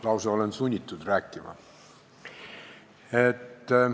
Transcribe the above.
Ma olen lausa sunnitud rääkima.